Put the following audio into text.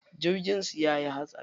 Jirgin su yayi hatsari.